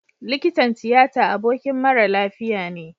Likitan tiyata abokin mara lafiya ne